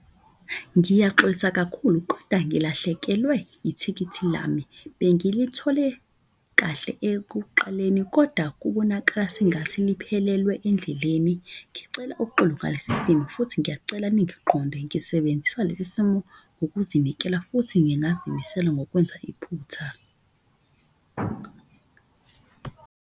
Ngiyaxolisa kakhulu koda ngilahlekelwe ithikithi lami, bengithole kahle ekuqaleni koda kubonakala sengathi liphelelwe endleleni. Ngicela uxolo ngalesi simo futhi ngiyacela ningiqonde ngisebenzisa lesi simo ukuzinikela. Futhi ngingazimisela ngokwenza iphutha.